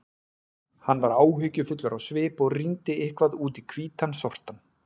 Hann var áhyggjufullur á svip og rýndi eitthvað út í hvítan sortann.